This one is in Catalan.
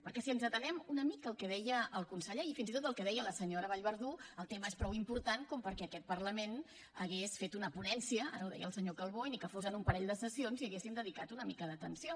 perquè si ens atenem una mica al que deia el conseller i fins i tot al que deia la senyora vallverdú el tema és prou important com perquè aquest parlament hagués fet una ponència ara ho deia el senyor calbó i ni que fos amb un parell de sessions hi haguéssim dedicat una mica d’atenció